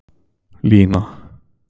Lína